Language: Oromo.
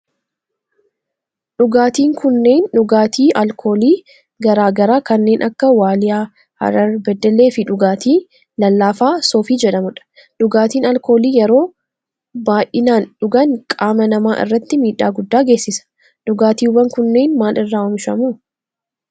Dhugaatin kunneen dhugaatii alkoolii garaa garaa kanneen akka waaliyaa, harar, beddellee fi dhugaatii lallaafaa soofii jedhamudha. dhugaatin alkoolii yeroo baayisanii dhugaan qaama nama irratti miidhaa guddaa geessisa. dhugaatiwwan kunneen maal irraa oomishamu?